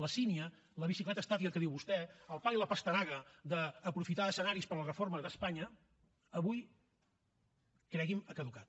la sínia la bicicleta estàtica que diu vostè el pal i la pastanaga d’aprofitar escenaris per a la reforma d’espanya avui cregui’m ha caducat